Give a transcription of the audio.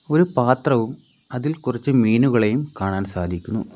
ഒരു പാത്രവും അതിൽ കുറച്ച് മീനുകളെയും കാണാൻ സാധിക്കുന്നു.